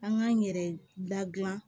An k'an yɛrɛ ladilan